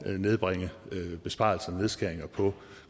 at nedbringe besparelser nedskæringer på